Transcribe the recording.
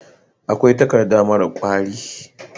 akwai takadda mara kwari